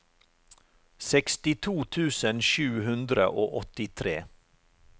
sekstito tusen sju hundre og åttitre